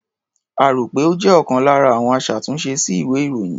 A rò pé ó jẹ́ ọlkan lára àwọn aṣàtúnṣe sí ìwé-ìròyìn.